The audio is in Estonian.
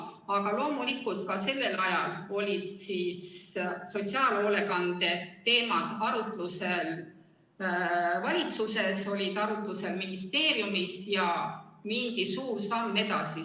Aga loomulikult ka sellel ajal olid sotsiaalhoolekande teemad arutusel nii valitsuses kui ka ministeeriumis, ja nendega astuti suur samm edasi.